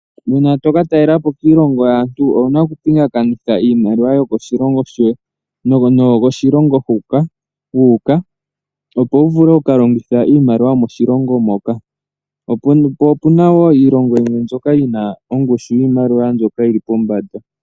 Uuna toka ka talelapo kiilongo yaantu owuna oku pingakanitha iimaliwa yomoshilongo no noyokoshilongo hoka wu uka. Opo wu vule oku ka longitha iimaliwa yomoshilongo moka . Opuna woo iilonga yimwe yina ongushu yiimaliwa mbyoka yili pombanda.